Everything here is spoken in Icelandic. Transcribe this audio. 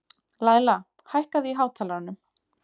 Læla, hækkaðu í hátalaranum.